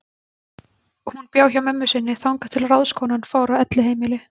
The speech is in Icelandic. Hún bjó hjá mömmu sinni þangað til ráðskonan fór á elliheimili.